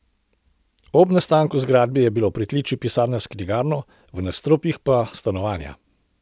Ob nastanku zgradbe je bila v pritličju pisarna s knjigarno, v nadstropjih pa stanovanja.